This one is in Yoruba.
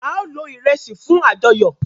ao lò iresi fún ajoyọ.